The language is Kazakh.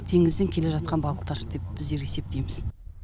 теңізден келе жатқан балықтар деп біздер есептейміз